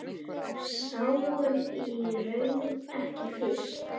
Sáum í raun ekki fisk.